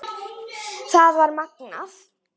Það var magnað.